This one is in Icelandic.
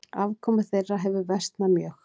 Afkoma þeirra hefur versnað mjög.